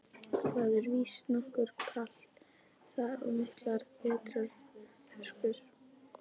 Það er víst nokkuð kalt þar og miklar vetrarhörkur.